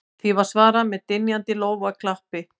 Því var svarað með dynjandi lófaklappi